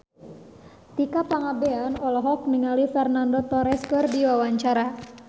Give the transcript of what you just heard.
Tika Pangabean olohok ningali Fernando Torres keur diwawancara